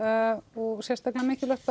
og sérstaklega mikilvægt